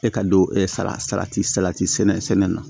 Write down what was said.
E ka don sala salati salati sɛnɛ na